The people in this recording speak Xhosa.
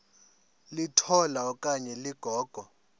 litola okanye ligogo